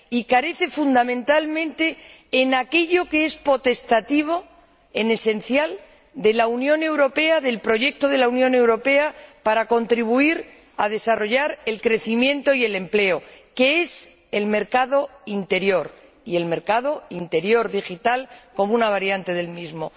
Y carece, fundamentalmente, de aquello que es potestativo, en esencial, del proyecto de la Unión Europea para contribuir a desarrollar el crecimiento y el empleo, que es el mercado interior, y el mercado interior digital como una variante del mismo.